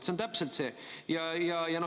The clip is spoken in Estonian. See on täpselt see!